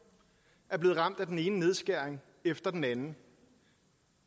er blevet ramt af den ene nedskæring efter den anden